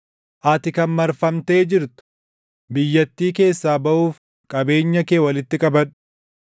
Ati kan marfamtee jirtu, biyyattii keessaa baʼuuf qabeenya kee // walitti qabadhu.